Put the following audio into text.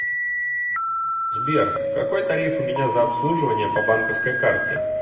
сбер какой тариф у меня за обслуживание по банковской карте